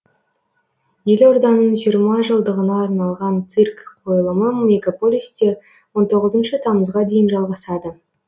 елорданың жиырма жылдығына арналған цирк қойылымы мегаполисте он тоғызыншы тамызға дейін жалғасады